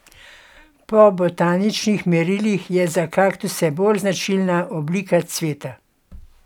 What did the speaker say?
Po botaničnih merilih je za kaktuse bolj značilna oblika cveta.